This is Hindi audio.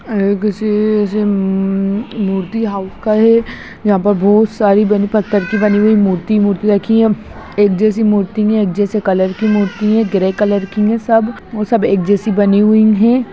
यह किसी सीईईईम मूर्ति हाउस का है यहाँ पर बहुत सारी बानी पत्थर की बानी हुई मूर्ति है मूर्ति रखी है एक जैसे मूर्ति है एक जैसे कलर की मूर्ति है ग्रे कलर की सब और सब एक जैसे बानी हुई है।